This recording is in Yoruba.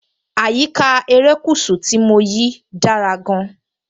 Àyíká erékùṣù tí mo yìí dára gan-an.